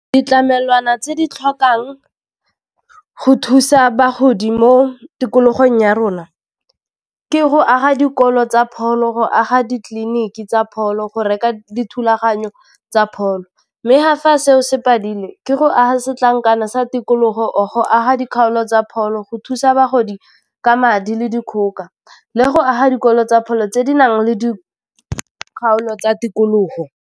Ditlamelwana tse di tlhokang go thusa bagodi mo tikologong ya rona, ke go aga dikolo tsa pholo, go aga ditleliniki tsa pholo, go reka dithulaganyo tsa pholo, mme ha fa seo se phadile, ke go aga setlankana sa tikologo or go aga dikgaolo tsa pholo, go thusa bagodi ka madi le dikgoka, le go aga dikolo tsa pholo tse di nang le di kgaolo tsa tikologo.